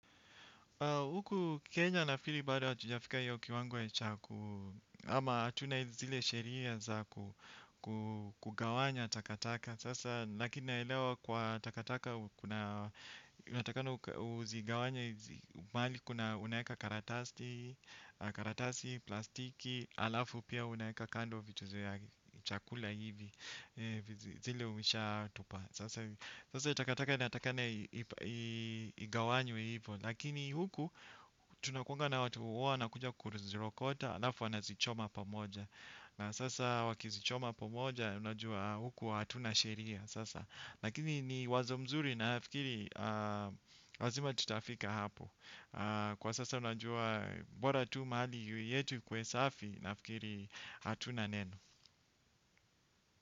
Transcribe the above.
Huku Kenya nafili bado hatujafika hiyo kiwango ya chaku, ama hatuna zile sheria za kugawanya takataka. Sasa, lakini naelewa kwa takataka, unatakana uzigawanye, mahali kuna unaweka karatasi, plastiki, alafu pia unaweka kando vitu za ya chakula hivi, zile ushaatupa. Sasa takataka inatakikana igawanywe hivyo. Lakini huku tunakuanga na watu huwa wanakuja kuzirokota. Alafu wanazichoma pamoja. Na sasa wakizichoma pamoja. Unajua huku hatuna sheria sasa. Lakini ni wazo mzuri na fikiri lazima tutafika hapo. Kwa sasa unajua bora tu mahali yetu ikuwe safi. Na fikiri hatuna neno.